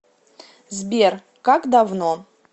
сбер как давно